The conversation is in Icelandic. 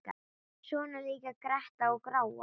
Svona líka gretta og gráa.